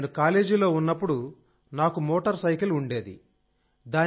సార్నేను కాలేజీలో ఉన్నప్పుడు నాకు మోటార్ సైకిల్ ఉండేది